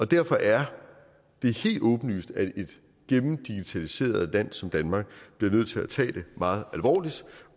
derfor er det helt åbenlyst at et gennemdigitaliseret land som danmark bliver nødt til at tage det meget alvorligt